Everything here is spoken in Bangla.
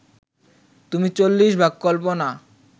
তুমি চল্লিশভাগ কল্পনা